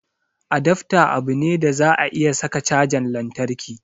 Adafta abu ne da za a iya saka cajan lantarki